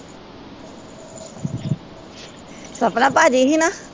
ਸਪਨਾ ਭਾਜੀ ਹੀ ਨਾ?